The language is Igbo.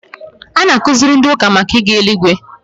A na-akuziri ndị ụka màkà ịga eluigwe